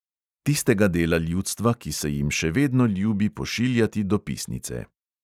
Tistega dela ljudstva, ki se jim še vedno ljubi pošiljati dopisnice.